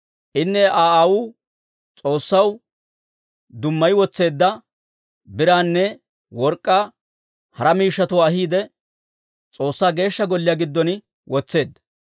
Inne Aa aawuu S'oossaw dummayi wotseedda biraanne work'k'aa hara miishshatuwaa ahiide, S'oossaa Geeshsha Golliyaa giddon wotseedda.